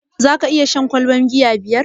Zaka iya shan ƙwalban giya biyar?